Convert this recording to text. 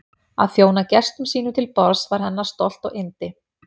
Að þjóna gestum sínum til borðs var hennar stolt og yndi.